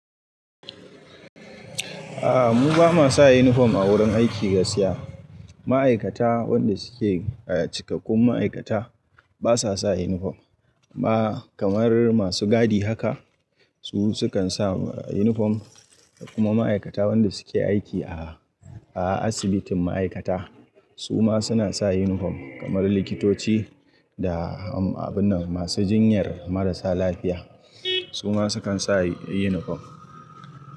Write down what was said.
A'a mu ba ma sa uniform a wurin aiki gaskiya. Ma'aikata wanda suke cikakkun ma'aikata basa sa uniform, amma kamar masu gadi haka su sukan sa uniform kuma ma'aikata wanda suke aiki a, a asibitin ma'aikata su ma suna sa uniform kamar likitoci da abun nan masu jinyar marasa lafiya. Su ma sukan sa uniform.